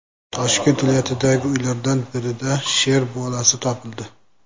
Toshkent viloyatidagi uylardan birida sher bolasi topildi .